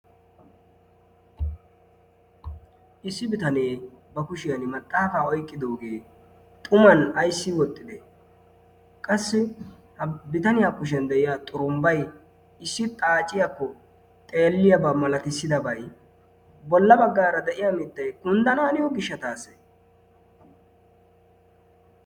Issi bitanee ba kushiyan maxaafaa oiqqidoogee xuman aissi woxxide qassi ha bitaniyaa kushiyan de'iya xurumbbai issi xaaciyaakko xeelliyaabaa malatissidabai bolla baggaara de'iya mittai kunddanaaniyo gishataase?